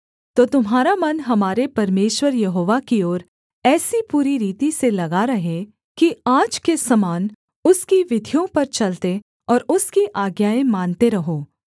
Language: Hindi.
तो तुम्हारा मन हमारे परमेश्वर यहोवा की ओर ऐसी पूरी रीति से लगा रहे कि आज के समान उसकी विधियों पर चलते और उसकी आज्ञाएँ मानते रहो